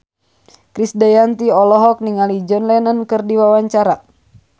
Krisdayanti olohok ningali John Lennon keur diwawancara